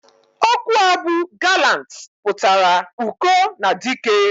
Okwu a bu "gallant" putara uko na dike.